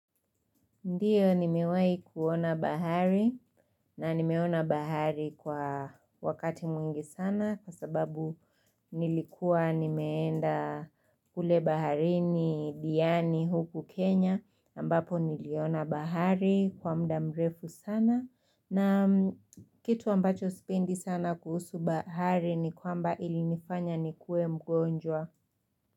Ndiyo nimewahi kuona bahari na nimeona bahari kwa wakati mwingi sana kwa sababu nilikuwa nimeenda kule baharini diani, huku Kenya ambapo niliona bahari kwa muda mrefu sana na kitu ambacho sipendi sana kuhusu bahari ni kwamba ilinifanya nikuwe mgonjwa.